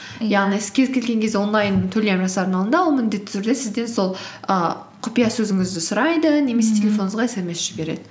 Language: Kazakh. сіз кез келген кезде онлайн төлем жасардың алдында ол міндетті түрде сізден сол і құпия сөзіңізді сұрайды телефоныңызға смс жібереді